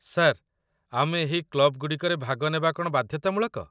Sir, ଆମେ ଏହି କ୍ଲବ୍‌ଗୁଡ଼ିକରେ ଭାଗ ନେବା କ'ଣ ବାଧ୍ୟତାମୂଳକ?